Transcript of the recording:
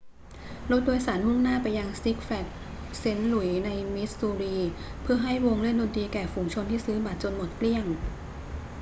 รถโดยสารมุ่งหน้าไปยัง six flags st louis ในมิสซูรี เพื่อให้วงเล่นดนตรีแก่ฝูงชนที่ซื้อบัตรจนหมดเกลี้ยง